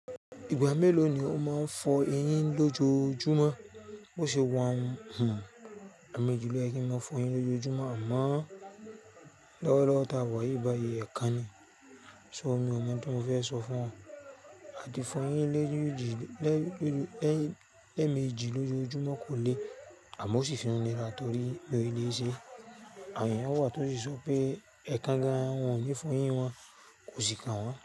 Ìgbà mélòó ni o máa ń fọ eyín lójojúmọ́? Bo ṣe wàá ń hùn ẹ̀mejì ló yẹ kí n má fọ eyín lójojúmọ́, àmọ́ lọ́wọ́lọ́wọ́ tí a wà yìí báyìí ẹ̀kan ni. So mi ò mọ̀ n ti mo fẹ́ sọ fún ọ. Àti fọ eyín lẹ́ẹ̀mejì lójojúmọ́ kò le, àmọ́ ó sì tún ni ra torí mi ò lè ṣe. Àwọn èèyàn wà tó sì se pé ẹ̀kan gan wọn ò ní fọ eyín wọn, kò sì kan wọ́n.